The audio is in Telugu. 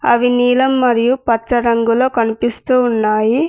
అవి నీలం మరియు పచ్చ రంగులో కనిపిస్తూ ఉన్నాయి.